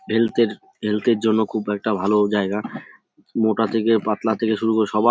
health -এর health -এর জন্য খুব একটা ভালো জায়গা মোটা থেকে পাতলা থেকে শুরু করে সবা--